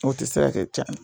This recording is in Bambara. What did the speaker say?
O tɛ se kɛ tiɲana